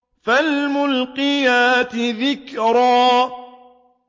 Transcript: فَالْمُلْقِيَاتِ ذِكْرًا